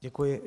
Děkuji.